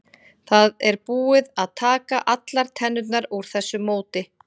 Það er búið að taka allar tennurnar úr þessu móti.